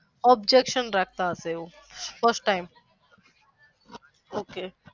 objecation રાખતા હશે એવું first time ok